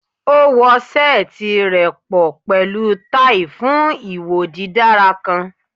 O wo seeti rẹ pọ pẹlu tai fun iwo didara kan